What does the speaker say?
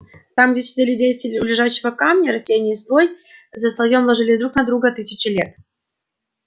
там где сидели дети у лежачего камня растения слой за слоем ложились друг на друга тысячи лет